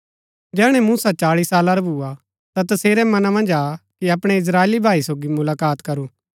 जैहणै मूसा चाळी साला रा भुआ ता तसेरै मना मन्ज आ कि अपणै इस्त्राएली भाई सोगी मुलाकात करू